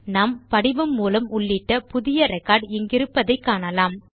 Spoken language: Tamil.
நாம் படிவம் மூலம் உள்ளிட்ட புதிய ரெக்கார்ட் இங்கிருப்பதை காணலாம்